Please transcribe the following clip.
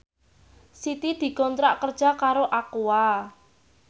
Siti dikontrak kerja karo Aqua